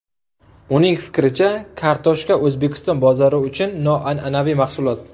Uning fikricha, kartoshka O‘zbekiston bozori uchun noan’anaviy mahsulot.